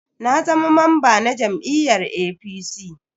Na zama mamba na jam'iyyar APC.